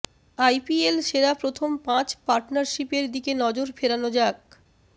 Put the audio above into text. IPL সেরা প্রথম পাঁচ পার্টনারশিপের দিকে নজর ফেরানো যাক